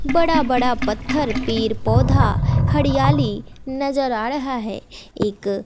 बड़ा बड़ा पत्थर पेड़ पौधा हडयाली नजड आ रहा है एक--